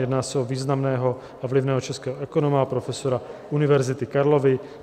Jedná se o významného a vlivného českého ekonoma a profesora Univerzity Karlovy.